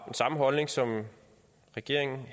samme holdning som regeringen